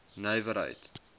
nywerheid